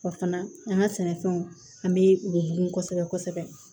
Wa fana an ka sɛnɛfɛnw an bɛ u bugun kosɛbɛ kosɛbɛ